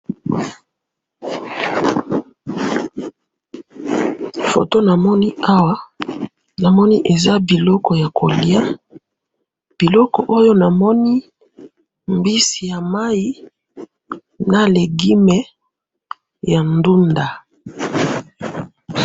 foto namoni awa namoni eza biloko ya koliya biloko oyo namoni mbisi ya mayi na legume ya ndunda